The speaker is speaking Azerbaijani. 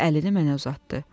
İri əlini mənə uzatdı.